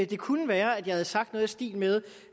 det kunne være at jeg havde sagt noget i stil med